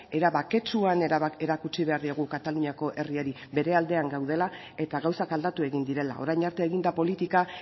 era baketsuan erakutsi behar diegu kataluniako herriari bere aldean gaudela eta gauzak aldatu egin direla orain arte egin da politika